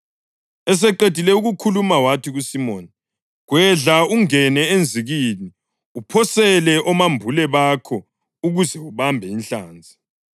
Eseqedile ukukhuluma wathi kuSimoni, “Gwedla ungene enzikini uphosele omambule bakho ukuze ubambe inhlanzi.”